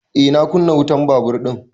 Eh na kunna wutan babur ɗin